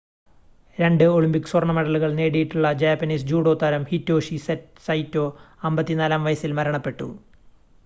രണ്ട് ഒളിമ്പിക് സ്വർണ്ണ മെഡലുകൾ നേടിയിട്ടുള്ള ജാപ്പനീസ് ജൂഡോ താരം ഹിറ്റോഷി സൈറ്റോ 54-ആം വയസിൽ മരണപ്പെട്ടു